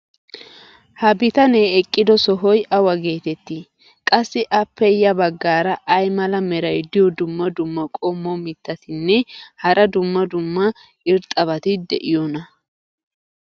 ha bitanee eqqido sohoy awa geetettii? qassi appe ya bagaara ay mala meray diyo dumma dumma qommo mitattinne hara dumma dumma irxxabati de'iyoonaa?